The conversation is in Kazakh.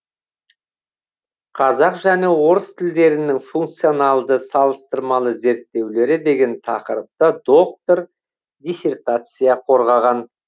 қазақ және орыс тілдерінің функционалды салыстырмалы зерттеулері деген тақырыпта доктор диссертация қорғаған